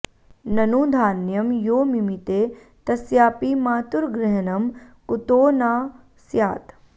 ननु धान्यं यो मिमीते तस्यापि मातुग्र्रहणं कुतो न स्यात्